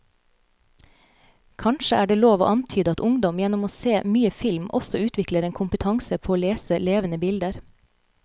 Kanskje er det lov å antyde at ungdom gjennom å se mye film også utvikler en kompetanse på å lese levende bilder.